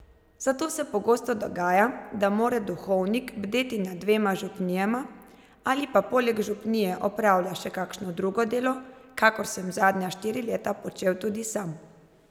Zato se pogosto dogaja, da mora duhovnik bdeti nad dvema župnijama, ali pa poleg župnije opravlja še kakšno drugo delo, kakor sem zadnja štiri leta počel tudi sam.